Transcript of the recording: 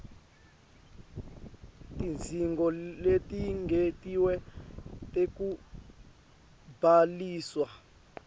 tidzingo letengetiwe tekubhaliswa